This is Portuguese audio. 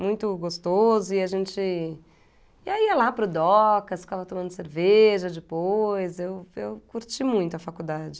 Muito gostoso e a gente... e ia lá para o Docas, ficava tomando cerveja depois, eu eu curti muito a faculdade.